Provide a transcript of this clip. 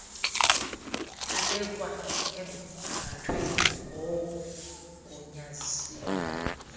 abekwa emgangathweni ngoogunyaziwe